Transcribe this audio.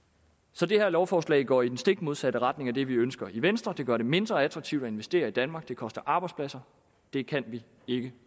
så det her lovforslag går i stik modsat retning af det vi ønsker i venstre det gør det mindre attraktivt at investere i danmark og det koster arbejdspladser det kan vi ikke